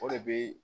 O de bɛ